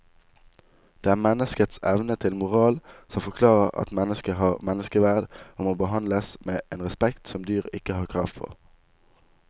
Det er menneskets evne til moral som forklarer at mennesket har menneskeverd og må behandles med en respekt som dyr ikke har krav på.